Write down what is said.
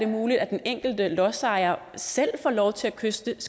muligt at den enkelte lodsejer selv får lov til at kystsikre